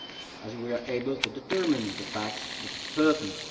as we are able to determine the facts with certainty.